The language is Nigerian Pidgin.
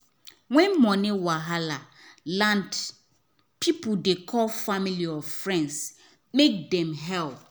when money wahala land people dey call family or friends make them help.